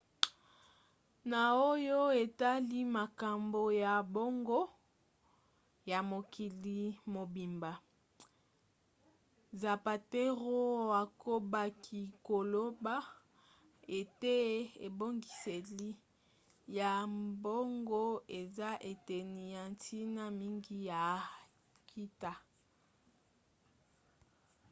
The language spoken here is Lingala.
na oyo etali makambo ya mbongo ya mokili mobimba zapatero akobaki koloba ete ebongiseli ya mbongo eza eteni ya ntina mingi ya nkita